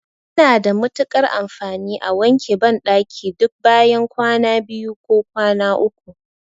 Yana da matuƙar amfani a wanke banɗaki duk bayan kwana biyu ko kwana uku.